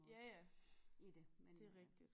Ja ja det rigtigt